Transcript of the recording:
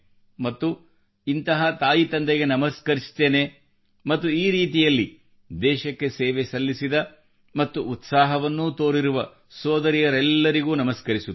ಮತ್ತು ಇಂತಹ ತಾಯಿ ತಂದೆಗೆ ನಮಸ್ಕರಿಸುತ್ತೇನೆ ಮತ್ತು ಈ ರೀತಿಯಲ್ಲಿ ದೇಶಕ್ಕೆ ಸೇವೆ ಸಲ್ಲಿಸಿದ ಮತ್ತು ಉತ್ಸಾಹವನ್ನೂ ತೋರಿರುವ ಸೋದರಿಯರೆಲ್ಲರಿಗೂ ನಮಸ್ಕರಿಸುತ್ತೇನೆ